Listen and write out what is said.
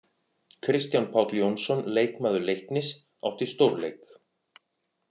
Kristján Páll Jónsson, leikmaður Leiknis átti stórleik.